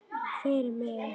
Fyrir mig.